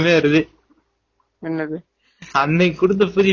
இப்போ தான் நியாபகமே வருது